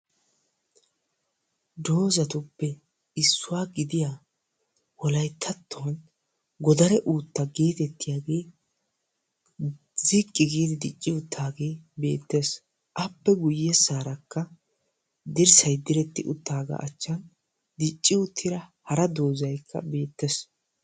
Dozatuppe issuwa gidiya wolayttattuwan godare uutta geetettiyagee ziqqi giidi dicci uttaagee beettees. Appe guyyessaarakka dirssay diretti uttaagaa achchan dicci uttida hara dozaykka beettees.